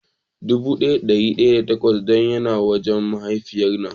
Dubu daya da dari daya da takwas don ya na wajen mahaifiya na.